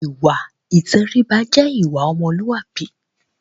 Ìwà ìtẹríba jẹ́ ìwà ọmọlúàbí.